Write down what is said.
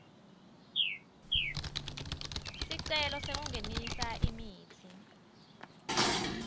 sicelo sekungenisa imitsi